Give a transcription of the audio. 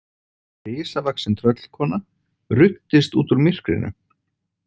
Risavaxin tröllkona ruddist út úr myrkrinu.